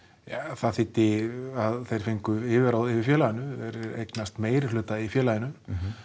það þýddi að þeir fengu yfirráð yfir félaginu þeir eignast meirihluta í félaginu